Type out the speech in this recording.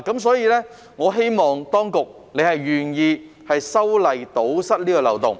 所以，我希望當局願意修例堵塞這個漏洞。